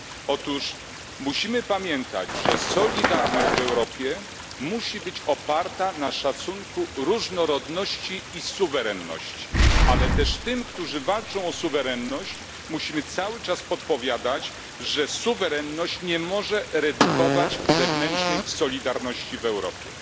Otóż powinniśmy pamiętać, że solidarność w Europie musi być oparta na poszanowaniu różnorodności i suwerenności, ale jednocześnie tym, którzy walczą o suwerenność, musimy cały czas podpowiadać, że suwerenność nie może redukować wewnętrznej solidarności w Europie.